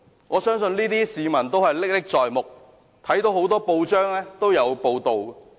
我相信市民對這些事仍歷歷在目，很多報章均有報道。